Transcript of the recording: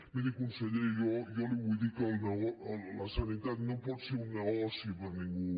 miri conseller jo li vull dir que la sanitat no pot ser un negoci per a ningú